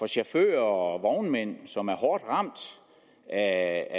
chauffører og vognmænd som er hårdt ramt af